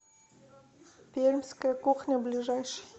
пермская кухня ближайший